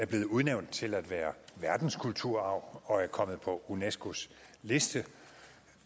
blevet udnævnt til at være verdenskulturarv og er kommet på unescos liste